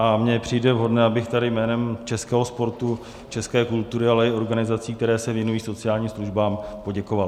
A mně přijde vhodné, abych tady jménem českého sportu, české kultury, ale i organizací, které se věnují sociálním službám, poděkoval.